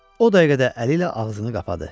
O dəqiqədə əli ilə ağzını qapadı.